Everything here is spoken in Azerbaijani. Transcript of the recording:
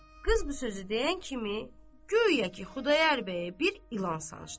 Qız bu sözü deyən kimi guya ki Xudayar bəyə bir ilan sancdı.